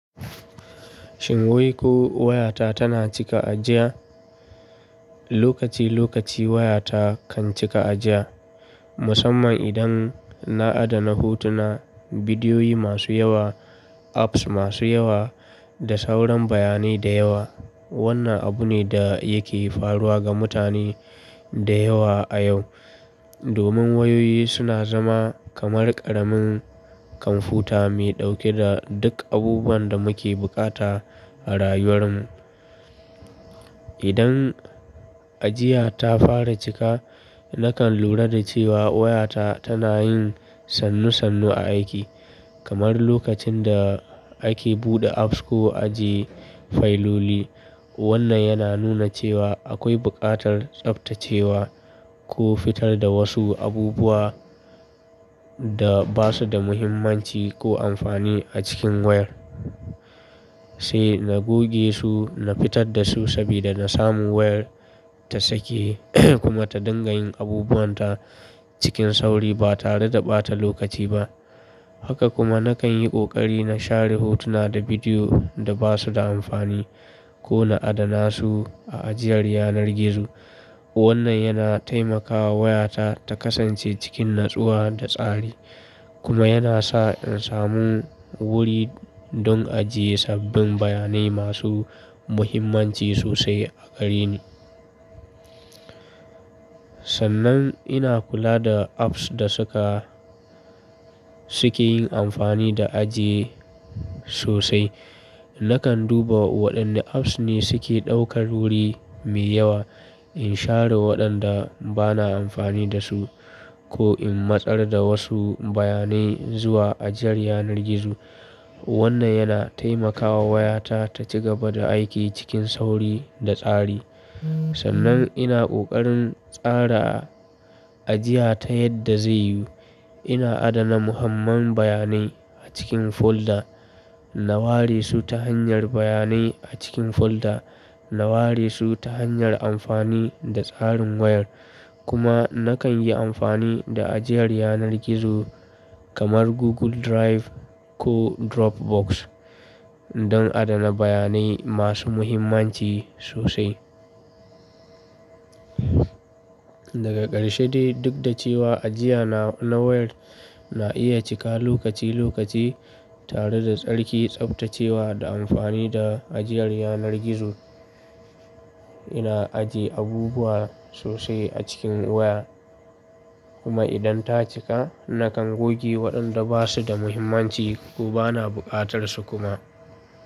Shin wai ko wayata tana cika ajiya? Lokaci lokaci wayata kan cika ajiya, musamman idan na adana hotuna, bidiyoyi masu yawa, apps masu yawa da sauran bayanai da yawa. Wannan abu ne da yake faruwa ga mutane da yawa a yau. Domin wayoyi suna zama kamar ƙaramin kwamfuta mai ɗauke da duk abubuwan da muke bukata a rayuwar mu. Idan ajiya ta fara cika, nakan lura da cewa wayata tana yin sannu sannu a aiki, kamar lokacin da ake buɗe apps ko ajiye fayiloli. Wannan yana nuna cewa akwai buƙatar tsaftacewa ko fitar da wasu abubuwa da ba su da muhimmanci ko amfani a cikin wayar. Sai na goge su, na fitar da su saboda na samu wayar ta sake kuma ta dinga yin abubuwan ta cikin sauri ba tare da ɓata lokaci ba. Haka kuma nakan yi ƙoƙari na share hotuna da bidiyo da ba su da amfani ko na adana su a ajiyar yanar gizo. Wannan yana taimakawa wayata ta kasance cikin natsuwa da tsari, kuma yana sa in samu wuri don ajiye sabbin bayanai masu muhimmanci sosai a gare ni. Sannan ina kula da apps da suka-- suke yin amfani da ajiye sosai. Nakan duba waɗanne apps ne suke ɗaukar wuri mai yawa in share waɗanda ba na amfani da su ko in matsar da wasu bayanai zuwa ajiyar yanar gizo. Wannan yana taimakawa wayata ta ci gaba da aiki cikin sauri da tsari. Sannan ina ƙoƙarin tsara ajiya ta yadda zai yiwu. Ina adana muhimman bayanai a cikin folder, na ware su ta hanyar bayanai a cikin folder, na ware su ta hanyar amfani da tsarin wayar. Kuma nakan yi amfani da ajiyar yanar gizo kamar Google Drive ko Dropbox don adana bayanai masu muhimmanci sosai. Daga ƙarshe dai duk da cewa ajiya na na wayar na iya cika lokaci lokaci tare da tsarki, tsaftacewa da amfani da ajiyar yanar gizo, ina ajiye abubuwa sosai a cikin waya. Kuma idan ta cika nakan goge waɗanda ba su da muhimmanci ko ba na buƙatar su kuma.